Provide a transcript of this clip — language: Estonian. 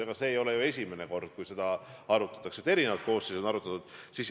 Ega see ei ole ju esimene kord, kui seda arutatakse, erinevad koosseisud on seda arutanud.